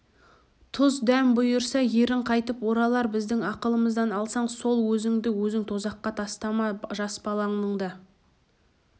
тұз-дәм бұйырса ерің қайтып оралар біздің ақылымызды алсаң сол өзіңді өзің тозаққа тастама жас балаңның да